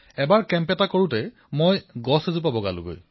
যেতিয়া মই শিবিৰত আছিলো তেতিয়া এবাৰ এডাল গছ বগাইছিলো